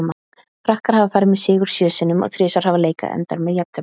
Frakkar hafa farið með sigur sjö sinnum og þrisvar hafa leikar endað með jafntefli.